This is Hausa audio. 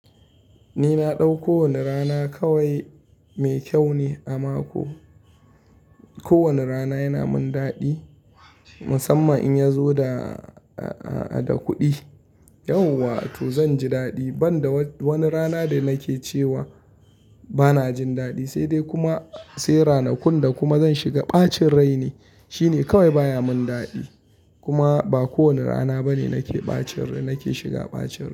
Ni na ɗau kowane rana kawai mai kyau ne a mako. Ko wani rana yana min daɗi musamman in ya zo da, a, a, a, da kuɗi. Yau wa to zan ji daɗi banda wani rana da nake cewa bana jin daɗi sai dai kuma, sai ranakun da kuma zan shiga ɓacin rai ne shine kawai baya min daɗi. Kuma ba kowane rana bane nake ɓacin rai, nake shiga ɓacin rai.